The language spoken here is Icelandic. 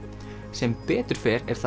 sem betur fer er